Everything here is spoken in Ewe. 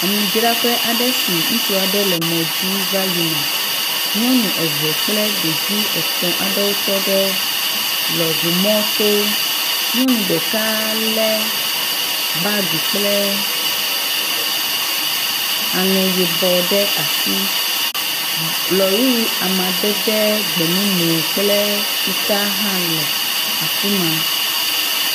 Amidzraƒe aɖe si ŋutsu aɖe le mɔdzi vayina, nyɔnu eve kple ɖevi etɔ̃ aɖewo tɔ ɖe lɔ ʋu mɔto, nyɔnu ɖeka le bagi kple aŋe yibɔ ɖe asi, lɔri amadede gbemumu kple fitaa hã le afima.